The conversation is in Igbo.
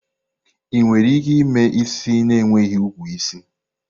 Ị nwere ike ime isi na enweghi ukwu isi?